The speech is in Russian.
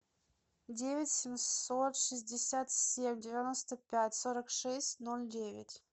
девять семьсот шестьдесят семь девяносто пять сорок шесть ноль девять